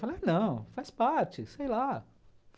Falei, não, faz parte, sei lá.